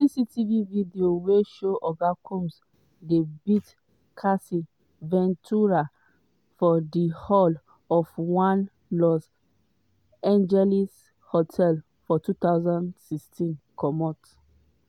cctv video wey show oga combs dey beat cassie ventura for di hall of one los angeles hotel for 2016 comot.